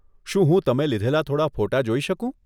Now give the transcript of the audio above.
શું હું તમે લીધેલાં થોડાં ફોટાં જોઈ શકું?